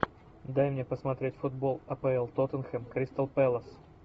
дай мне посмотреть футбол апл тоттенхэм кристал пэлас